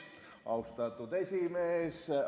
Austatud esimees!